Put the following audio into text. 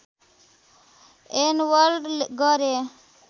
enabled गरे